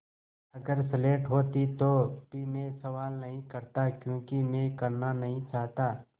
अगर स्लेट होती तो भी मैं सवाल नहीं करता क्योंकि मैं करना नहीं चाहता